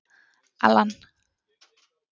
Allan